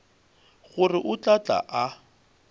gore o tla tla a